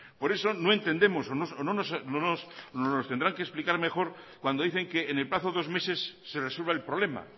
por eso no entendemos o nos lo tendrá que explicar mejor cuando dicen que en el plazo de dos meses se resuelva el problema